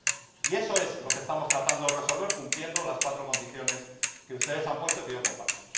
Y eso es lo que estamos tratando de resolver cumpliendo las cuatro condiciones que ustedes han puesto y que yo comparto.